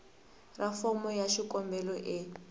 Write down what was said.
ra fomo ya xikombelo e